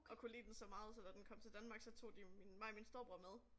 Og kunne lide den så meget så da den kom til Danmark så tog de jo min mig og min storebror med